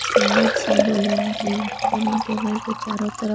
Slides है balloon की dining table के चारों तरफ।